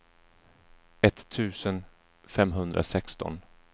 etttusen femhundrasexton